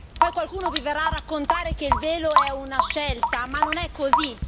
Poi qualcuno vi verrà a raccontare che il velo è una scelta, ma non è così!